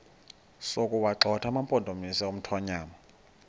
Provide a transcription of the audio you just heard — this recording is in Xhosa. sokuwagxotha amampondomise omthonvama